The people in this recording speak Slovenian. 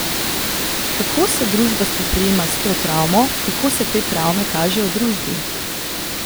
Kako se družba spoprijema s to travmo, kako se te travme kažejo v družbi?